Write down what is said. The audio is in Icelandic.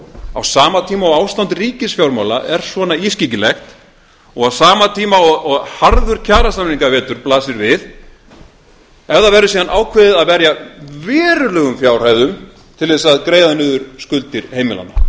á sama tíma og ástand ríkisfjármála er svona ískyggilegt og á sama tíma og harður kjarasamninga vetur blasir við ef það verður síðan ákveðið að verja verulegum fjárhæðum til þess að greiða niður skuldir heimilanna